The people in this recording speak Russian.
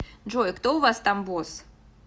джой кто у вас там босс